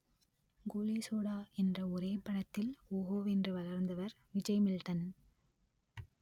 கோலிசோடா என்ற ஒரே படத்தில் ஓஹோவென்று வளர்ந்தவர் விஜய் மில்டன்